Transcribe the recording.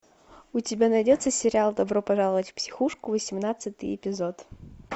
у тебя найдется сериал добро пожаловать в психушку восемнадцатый эпизод